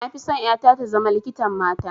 Na fi son ƴata ta zama likitan mata